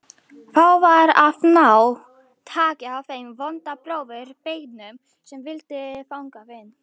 Þá var að ná taki á þeim vonda bróður beygnum sem vildi þangað inn.